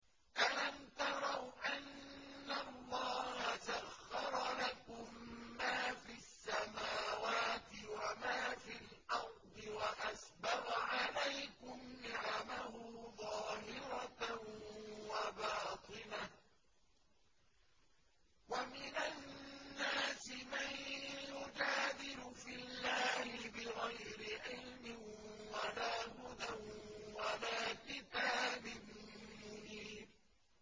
أَلَمْ تَرَوْا أَنَّ اللَّهَ سَخَّرَ لَكُم مَّا فِي السَّمَاوَاتِ وَمَا فِي الْأَرْضِ وَأَسْبَغَ عَلَيْكُمْ نِعَمَهُ ظَاهِرَةً وَبَاطِنَةً ۗ وَمِنَ النَّاسِ مَن يُجَادِلُ فِي اللَّهِ بِغَيْرِ عِلْمٍ وَلَا هُدًى وَلَا كِتَابٍ مُّنِيرٍ